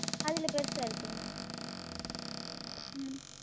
அதில் பெரியதாக இருக்கிறது உம்